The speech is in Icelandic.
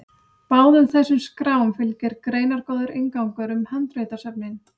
báðum þessum skrám fylgir greinargóður inngangur um handritasöfnin